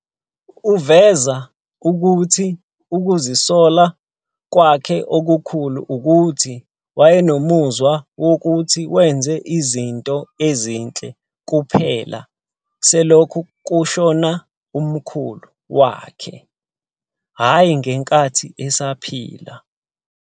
Uveze ukuthi ukuzisola kwakhe okukhulu ukuthi wayenomuzwa wokuthi wenze izinto ezinhle kuphela selokhu kushona umkhulu wakhe, hhayi ngenkathi esaphila.